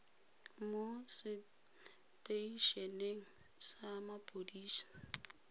mo setei eneng sa mapodisi